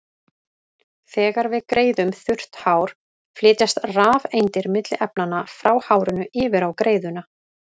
Þegar við greiðum þurrt hár flytjast rafeindir milli efnanna, frá hárinu yfir á greiðuna.